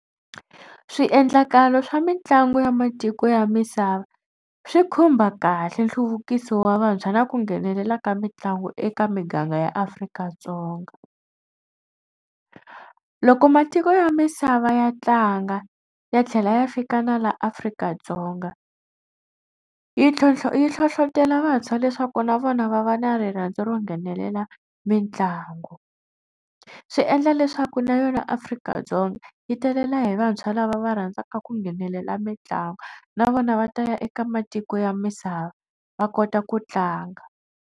Swiendlakalo swa mitlangu ya matiko ya misava swi khumba kahle nhluvukiso wa vantshwa na ku nghenelela ka mitlangu eka miganga ya Afrika-Dzonga. Loko matiko ya misava ya tlanga ya tlhela ya fika na la Afrika-Dzonga yi ntlhontlho yi hlohlotelo vantshwa leswaku na vona va va na rirhandzu ro nghenelela mitlangu. Swi endla leswaku na yona Afrika-Dzonga yi talela hi vantshwa lava va rhandzaka ku nghenelela mitlangu na vona va ta ya eka matiko ya misava va kota ku tlanga.